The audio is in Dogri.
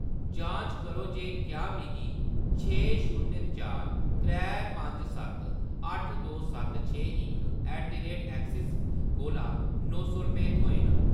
जांच करो जे क्या मिगी छे शून्य चार त्रै पंज सत्त अट्ठ दो सत्त छे इक ऐट द रेट ऐक्सिस कोला नौ सौ रपेऽ थ्होए न।